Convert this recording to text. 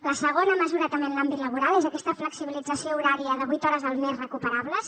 la segona mesura també en l’àmbit laboral és aquesta flexibilització horària de vuit hores al mes recuperables